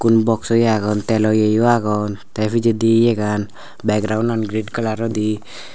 igun box o iyo agon telo yeyo agon tey pijedi yegan background an green colour odi.